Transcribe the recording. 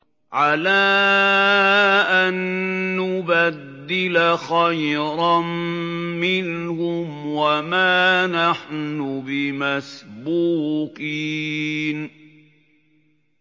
عَلَىٰ أَن نُّبَدِّلَ خَيْرًا مِّنْهُمْ وَمَا نَحْنُ بِمَسْبُوقِينَ